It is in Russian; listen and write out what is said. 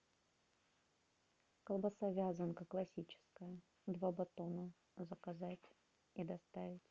колбаса вязанка классическая два батона заказать и доставить